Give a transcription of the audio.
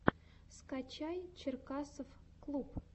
скачай черкасовклуб